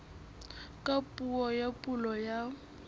ka puo ya pulo ya